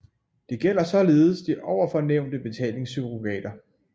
Det gælder således de ovenfor nævnte betalingssurrogater